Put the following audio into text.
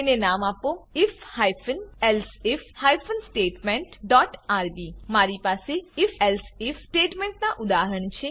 તેને નામ આપો IF hyphen elseif hyphen statement dot RB મારી પાસે if એલ્સિફ સ્ટેટમેન્ટ ના ઉદાહરણ છે